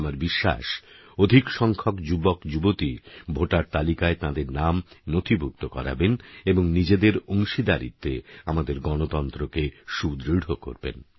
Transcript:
আমার বিশ্বাস অধিক সংখ্যক যুবকযুবতী ভোটার তালিকায় তাঁদের নাম নথিভুক্ত করাবেন এবং নিজেদের অংশীদারিত্বে আমাদের গণতন্ত্রকে সুদৃঢ় করবেন